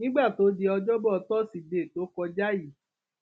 nígbà tó di ọjọbọ tọsídẹẹ tó kọjá yìí